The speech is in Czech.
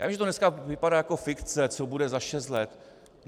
Já vím, že to dneska vypadá jako fikce, co bude za šest let.